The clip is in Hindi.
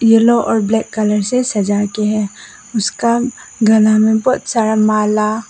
येलो और ब्लैक कलर से सजा के हैं उसका गला में बहोत सारा माला--